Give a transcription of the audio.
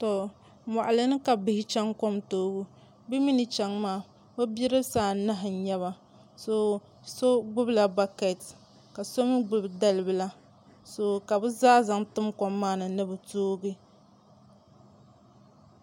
Moɣali ni ka bihi chɛŋ kom toobu bi mii ni chɛŋ maa bi bidibsi anahi n nyɛba so gbubila bakɛt ka so mii gbubi dalibila ka bi zaa zaŋ tim kom maa ni ni bi toogi